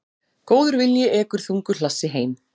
Góður vilji ekur þungu hlassi heim.